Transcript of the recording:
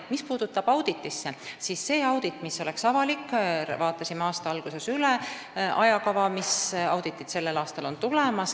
Mis puudutab seda auditit, siis me vaatasime aasta alguses üle ajakava, mis auditid sel aastal tulevad.